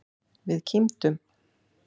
Við kímdum.